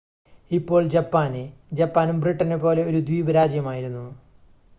ഇപ്പോൾ ജപ്പാന് ജപ്പാനും ബ്രിട്ടനെ പോലെ ഒരു ദ്വീപ് രാജ്യമായിരുന്നു